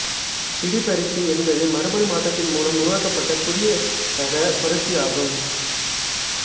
பிடி பருத்தி என்பது மரபனு மாற்றத்தின் முலம் உருவாக்கப்பட்ட புதிய ரகபருத்தி ஆகும்